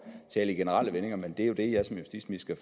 tale i generelle vendinger men det er jo det jeg som justitsminister